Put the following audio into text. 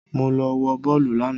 Mo lọ wò bọ́ọ́lù lànà